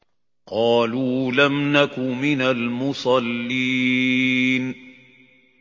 قَالُوا لَمْ نَكُ مِنَ الْمُصَلِّينَ